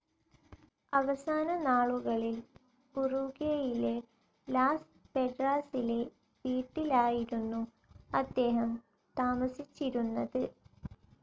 അവസാന നാളുകളിൽ ഉറൂഗ്വേയിലെ ലാസ്‌ പെഡ്രാസിലെ വീട്ടിലായിരുന്നു അദ്ദേഹം താമസിച്ചിരുന്നത്.